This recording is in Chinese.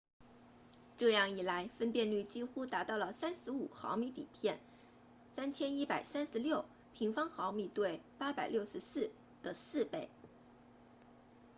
这样一来分辨率几乎达到了35 mm 底片3136 mm2 对864的四倍